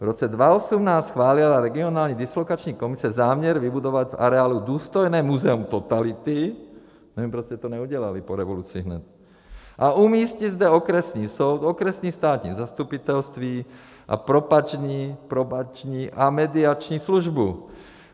V roce 2018 schválila regionální dislokační komise záměr vybudovat v areálu důstojné muzeum totality - nevím, proč jste to neudělali po revoluci hned - a umístit zde okresní soud, okresní státní zastupitelství a probační a mediační službu.